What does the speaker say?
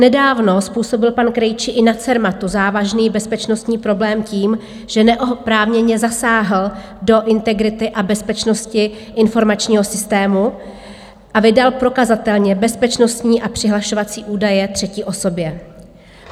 Nedávno způsobil pan Krejčí i na Cermatu závažný bezpečnostní problém tím, že neoprávněně zasáhl do integrity a bezpečnosti informačního systému a vydal prokazatelně bezpečnostní a přihlašovací údaje třetí osobě.